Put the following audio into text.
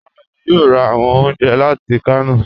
Rárá, èmi yóò rà awọn ọ̀unjẹ láti Kano.